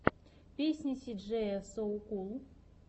песня си джея соу кул